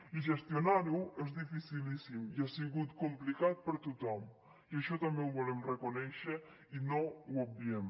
i gestionar ho és dificilíssim i ha sigut complicat per a tothom i això també ho volem reconèixer i no ho obviem